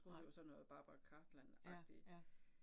Nej, ja ja